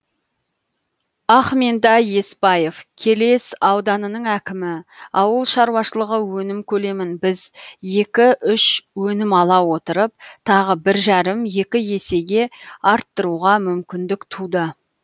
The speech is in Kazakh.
ахментай есбаев келес ауданының әкімі ауыл шаруашылығы өнім көлемін біз екі үш өнім ала отырып тағы бір жарым екі есеге арттыруға мүмкіндік туды